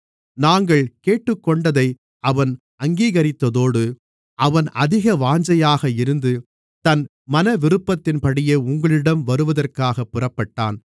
நாங்கள் கேட்டுக்கொண்டதை அவன் அங்கீகரித்ததோடு அவன் அதிக வாஞ்சையாக இருந்து தன் மனவிருப்பத்தின்படியே உங்களிடம் வருவதற்காகப் புறப்பட்டான்